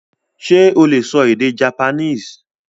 Sé o lè sọ èdè Japanese?